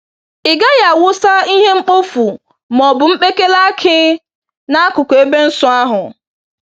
Ị gaghị awụsa ihe mkpofu ma ọ bụ mkpekele akị n'akụkụ ebe nsọ ahụ.